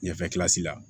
Ɲɛfɛ la